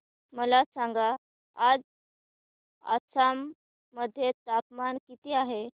मला सांगा आज आसाम मध्ये तापमान किती आहे